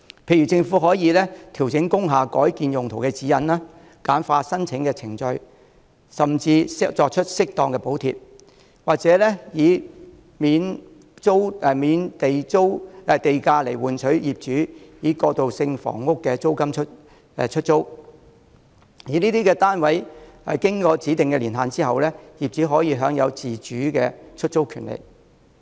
例如，政府可調整工廈改建用途的指引，簡化申請程序，甚至提供適當的補貼，或以免補地價來換取業主以過渡性房屋的租金出租單位；而這些單位經過指定的年限後，業主可享自主出租的權利。